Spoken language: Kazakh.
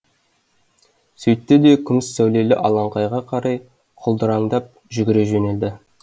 сөйтті де күміс сәулелі алаңқайға қарай құлдыраңдап жүгіре жөнелді